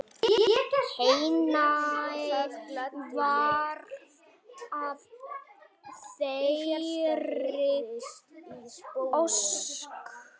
Henni varð að þeirri ósk.